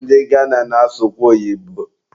Ndị Gana na-asụkwa oyibo